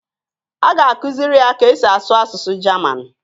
A ga-akụziri ya ka e si asụ asụsụ Jaman